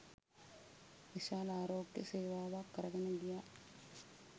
විශාල ආරෝග්‍ය සේවාවක් කරගෙන ගියා